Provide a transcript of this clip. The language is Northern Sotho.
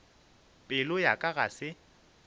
pelo ya ka ga se